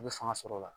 I bɛ fanga sɔrɔ o la